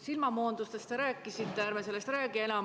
Silmamoondustest te juba rääkisite, ärme sellest enam räägime.